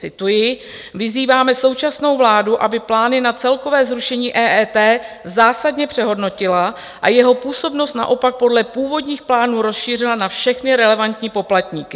Cituji: Vyzýváme současnou vládu, aby plány na celkové zrušení EET zásadně přehodnotila a jeho působnost naopak podle původních plánů rozšířila na všechny relevantní poplatníky.